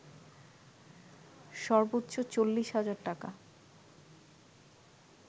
সর্বোচ্চ ৪০ হাজার টাকা